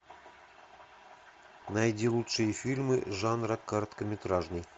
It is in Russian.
найди лучшие фильмы жанра короткометражный